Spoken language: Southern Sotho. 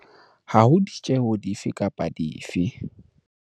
Ha ho ditjeho di fe kapa dife.